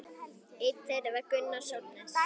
Einn þeirra var Gunnar Sólnes.